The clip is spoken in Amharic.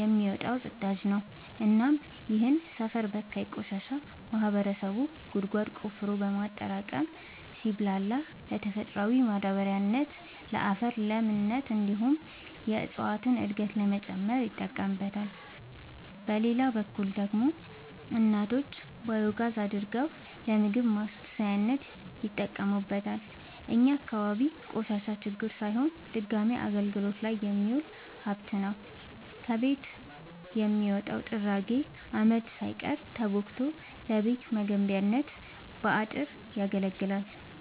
የሚወጣው ፅዳጅ ነው እናም ይህንን ሰፈር በካይ ቆሻሻ ማህበረሰቡ ጉድጓድ ቆፍሮ በማጠራቀም ሲብላላ ለተፈጥሯዊ ማዳበሪያነት ለአፈር ለምነት እንዲሁም የእፀዋትን እድገት ለመጨመር ይጠቀምበታል። በሌላ በኩል ደግሞ እናቶች ባዮጋዝ አድርገው ለምግብ ማብሰያነት ይጠቀሙበታል። እኛ አካባቢ ቆሻሻ ችግር ሳይሆን ድጋሚ አገልግት ላይ የሚውል ሀብት ነው። ከቤት የሚወጣው ጥራጊ አመድ ሳይቀር ተቦክቶ ለቤት መገንቢያ ለአጥር ያገለግላል።